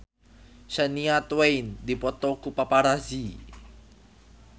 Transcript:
Shania Twain dipoto ku paparazi